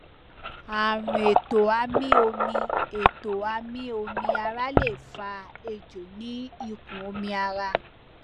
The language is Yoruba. àrùn ètò amí omi ètò amí omi ara lè fa èjò ní inú ikùn omi ara